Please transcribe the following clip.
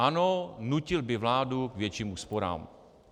Ano, nutil by vládu k větším úsporám.